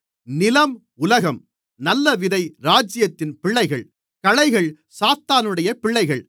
நிலம் உலகம் நல்ல விதை ராஜ்யத்தின் பிள்ளைகள் களைகள் சாத்தானுடைய பிள்ளைகள்